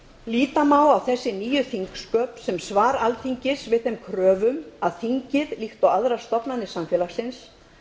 líta má á þessi nýju þingsköp sem svar alþingis við þeim kröfum að þingið líkt og aðrar stofnanir samfélagsins